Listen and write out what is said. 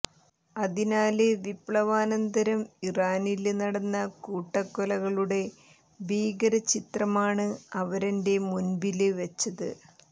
അതിനാല് വിപ്ലവാനന്തരം ഇറാനില് നടന്ന കൂട്ടക്കൊലകളുടെ ഭീകര ചിത്രമാണ് അവരെന്റെ മുമ്പില് വെച്ചത്